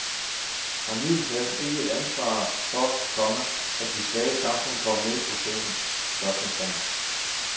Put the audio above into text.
Har middelklassen ikke et ansvar for, komma at de svage i samfundet kommer med i processen? spørgsmålstegn